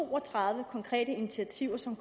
to og tredive konkrete initiativer som